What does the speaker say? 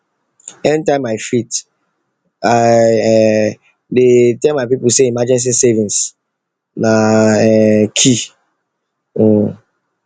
anytime i fit i um dey tell my people say emergency savings na um key um